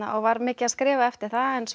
var mikið að skrifa eftir það en svo